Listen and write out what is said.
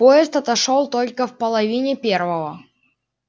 поезд отошёл только в половине первого